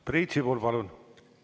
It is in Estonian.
Priit Sibul, palun!